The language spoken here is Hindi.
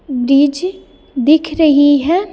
ब्रिज दिख रही है।